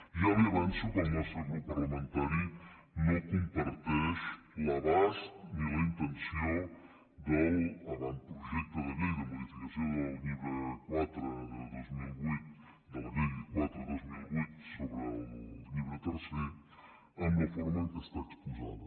ja li avanço que el nostre grup parlamentari no comparteix l’abast ni la intenció de l’avantprojecte de llei de modificació de la llei quatre dos mil vuit sobre el llibre tercer de la forma en què està exposada